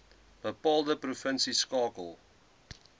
bepaalde provinsie skakel